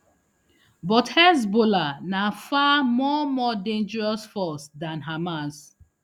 but hezbollah na far more more dangerous force dan hamas